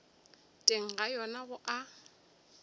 teng ga yona go a